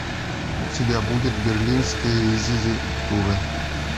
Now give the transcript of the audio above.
у тебя будет берлинская резидентура